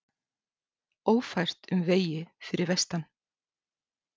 Ófært um vegi fyrir vestan